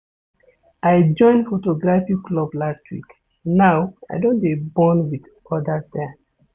I join photography club last week, now, I don dey bond wit odas there.